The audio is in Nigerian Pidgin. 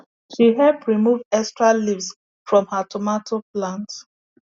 she help remove extra leaves from her tomato plant